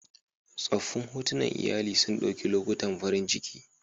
Tsoffin hotunan iyali sun ɗauki lokutan farin ciki